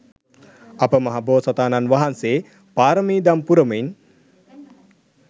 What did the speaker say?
අප මහ බෝසතාණන් වහන්සේ පාරමි දම් පුරමින්